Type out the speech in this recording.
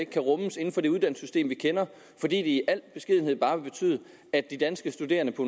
kan rummes inden for det uddannelsessystem vi kender fordi det i al beskedenhed bare vil betyde at de danske studerende på